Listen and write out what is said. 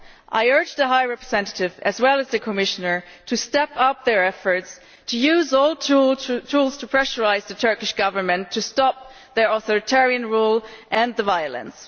I urge the High Representative as well as the Commissioner to step up their efforts to use all tools to pressurise the Turkish Government to stop their authoritarian rule and the violence.